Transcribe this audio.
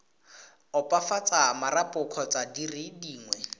opafatsa marapo kgotsa dire dingwe